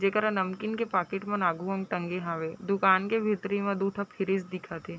जेकरा नमकीन के पाकिट मन आगु में टांगे हवे दुकान के भीतरी में दू ठो फ्रिज दिखत हे ।